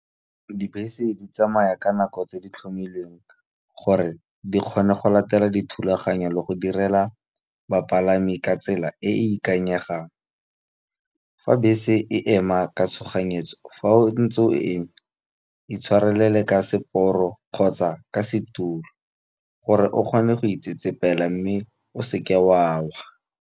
Dibese di tsamaya ka nako tse di tlhomilweng, gore di kgone go latela dithulaganyo le go direla bapalami ka tsela e e ikanyegang. Fa be se e ema ka tshoganyetso, fa o ntse o eme e tshwarelele ka seporo, kgotsa ka setulo gore o kgone go itsetsepela, mme o seke o a wa.